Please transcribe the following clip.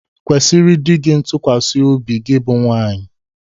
Kwesiri dị gi ntụkwasị obi gi bụ nwaanyị!